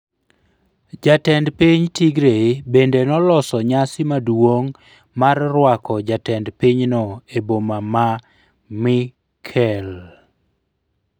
Jatend piny Tigray bende noloso nyasi maduong' mar rwako jatend pinyno e boma ma Mekelle.